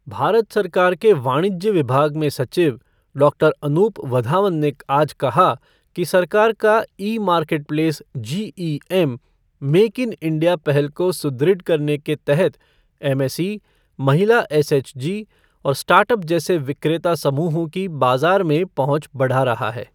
भारत सरकार के वाणिज्य विभाग में सचिव डॉक्टर अनूप वधावन ने आज कहा कि सरकार का e marketplace GeM, make in India पहल को सुदृढ़ करने के तहत एमएसई, महिला एसएचजी और स्टार्टअप जैसे विक्रेता समूहों की बाजार में पहुंच बढ़ा रहा है।